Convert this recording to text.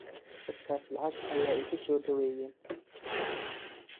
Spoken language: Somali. Dadhkas lacag aya igusodhoweyen.